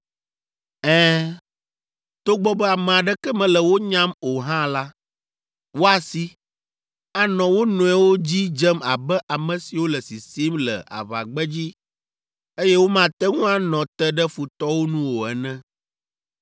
Ɛ̃, togbɔ be ame aɖeke mele wo nyam o hã la, woasi, anɔ wo nɔewo dzi dzem abe ame siwo le sisim le aʋagbedzi, eye womate ŋu anɔ te ɖe futɔwo nu o ene.